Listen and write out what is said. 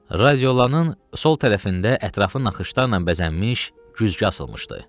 Radiolanın sol tərəfində ətrafı naxışlarla bəzənmiş güzgü asılmışdı.